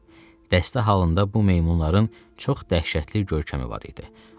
Dəstə halında bu meymunların çox dəhşətli görkəmi var idi.